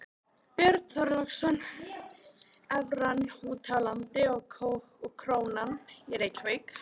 Björn Þorláksson: Evran úti á landi og krónan í Reykjavík?